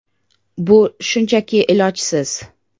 Bu shunchaki ilojsiz.